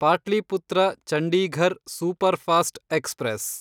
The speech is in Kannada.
Pataliputra Chandigarh superfast express